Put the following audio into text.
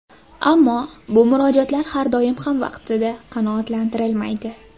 Ammo bu murojaatlar har doim ham vaqtida qanoatlantirilmaydi.